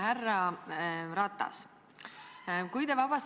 Härra Ratas!